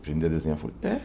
Aprender a desenhar? É